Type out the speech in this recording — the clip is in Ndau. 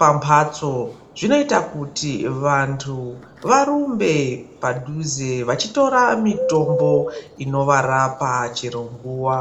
pamatso zvinoita kuti vantu varumbe padhuze vachitora mitombo inovarapa chero nguwa.